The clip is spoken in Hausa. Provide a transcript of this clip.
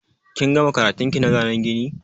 Kin gama karatun ki na zanen gini?